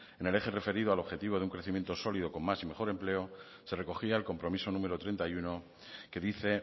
en el eje referido al objetivo de un crecimiento sólido con más y mejor empleo se recogía el compromiso número treinta y uno que dice